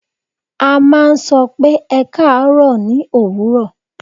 À n máa n sọ pé 'Ẹ kaàárọ̀ o' ní òwúrò